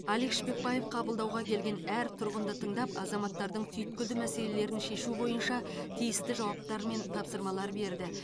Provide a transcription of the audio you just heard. алик шпекбаев қабылдауға келген әр тұрғынды тыңдап азаматтардың түйткілді мәселелерін шешу бойынша тиісті жауаптар мен тапсырмалар берді